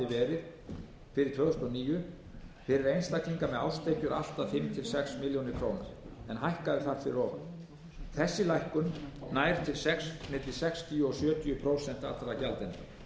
þúsund og níu fyrir einstaklinga með árstekjur allt að fimm til sex milljónir króna en hækkaði þar fyrir ofan þessi lækkun nær til milli sextíu prósent og sjötíu prósent allra gjaldenda